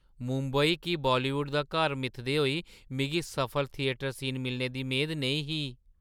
मुंबई गी बालीवुड दा घर मिथदे होई मिगी सफल थिएटर सीन मिलने दी मेद नेईं ही।